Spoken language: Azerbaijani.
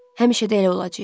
Həmişə də elə olacağıq.